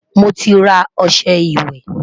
moti rà ọsẹ ìwé